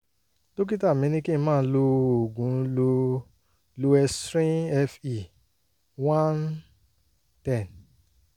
dókítà mi ní kí n máa lo oògùn lo loestrin fe oneten